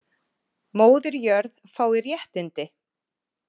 Móðir jörð fái réttindi